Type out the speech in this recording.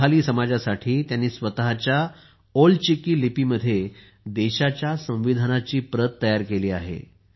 संथाली समाजासाठी त्यांनी स्वतःच्या ओल चिकी लिपीमध्ये देशाच्या संविधानाची प्रत तयार केली आहे